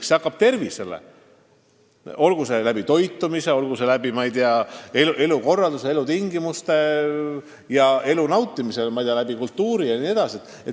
See hakkab tervisele, kui toit ei ole normaalne, kui elukorraldus ja elutingimused ei ole normaalsed, kui elu ei saa nautida, käies näiteks kultuuriüritustel, jne.